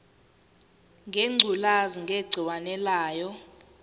ngengculazi negciwane layo